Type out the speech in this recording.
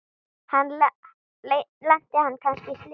Lenti hann kannski í slysi?